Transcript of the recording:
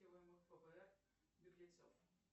фбр беглецов